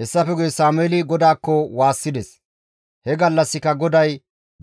Hessafe guye Sameeli GODAAKKO waassides; he gallassika GODAY